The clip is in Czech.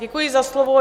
Děkuji za slovo.